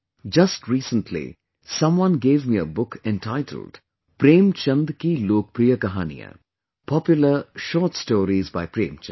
Just recently, someone gave me a book entitled 'Premchand Ki LokapriyaKahaniyan', popular short stories by Premchand